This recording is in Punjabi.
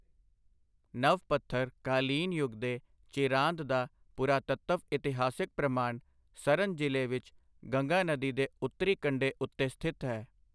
ਨਵ ਪੱਥਰ ਕਾਲੀਨ ਯੁੱਗ ਦੇ ਚਿਰਾਂਦ ਦਾ ਪੁਰਾਤੱਤਵ ਇਤਿਹਾਸਿਕ ਪ੍ਰਮਾਣ ਸਰਨ ਜ਼ਿਲ੍ਹੇ ਵਿੱਚ ਗੰਗਾ ਨਦੀ ਦੇ ਉੱਤਰੀ ਕੰਢੇ ਉੱਤੇ ਸਥਿਤ ਹੈ।